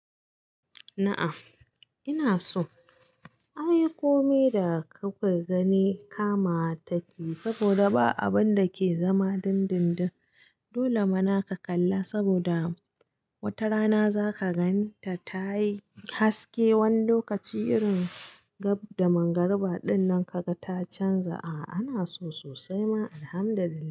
A'a Ina so. Anyi komai da ka kwai gani kama taki saboda ba abinda ke zama dindindin. Dole mana ka kalla saboda wata rana zaka gan ta tayi haske. Wani lokaci irin gab da mangarbara dinnan ka ga ta canza. A'a ana so sosai ma Alhamdulillah.